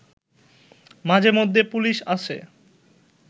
মাঝেমধ্যে পুলিশ আসে